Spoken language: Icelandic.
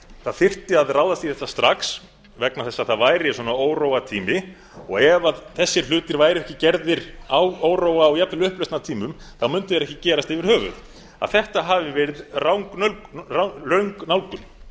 það þyrfti að ráðast í þetta strax vegna þess að það væri svona óróatímar og ef þessir hlutir væru ekki gerðir á óróa og jafnvel upplausnartímum mundu þeir ekki gerast yfir höfuð að þetta hafi verið röng